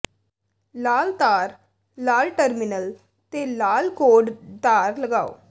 ਲਾਲ ਤਾਰ ਨਾਲ ਟਰਮੀਨਲ ਤੇ ਲਾਲ ਕੌਰਡ ਤਾਰ ਲਗਾਓ